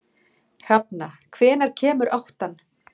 Hrafna, hvenær kemur áttan?